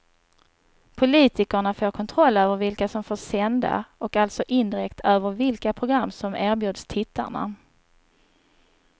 Politikerna får kontroll över vilka som får sända och alltså indirekt över vilka program som erbjuds tittarna.